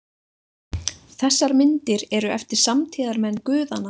Þessar myndir eru eftir „samtíðarmenn“ guðanna.